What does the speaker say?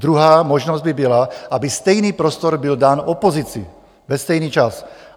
Druhá možnost by byla, aby stejný prostor byl dán opozici ve stejný čas.